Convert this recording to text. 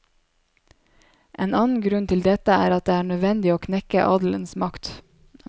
En annen grunn til dette er at det er nødvendig å knekke adelens makt.